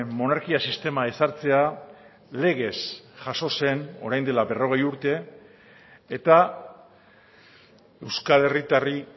monarkia sistema ezartzea legez jaso zen orain dela berrogei urte eta euskal herritarrei